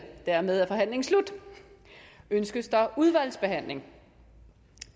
dermed er forhandlingen slut ønskes der udvalgsbehandling